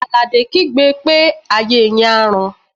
Àlàdé kígbe pé "ayé yín á rún!"